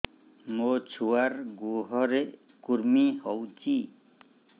ମୋ ଛୁଆର୍ ଗୁହରେ କୁର୍ମି ହଉଚି